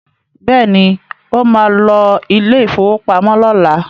Bẹ́ẹ̀ni, ó ma lọ ilé ìfowópamọ́ lọ́la